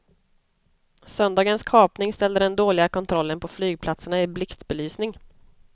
Söndagens kapning ställde den dåliga kontrollen på flygplatserna i blixtbelysning.